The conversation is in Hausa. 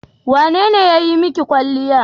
Wane ne ya yi maki kwalliya?